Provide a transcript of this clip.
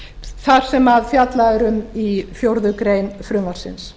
þar sem fjallað er um í fjórða grein frumvarpsins